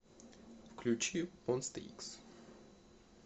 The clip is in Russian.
включи монста икс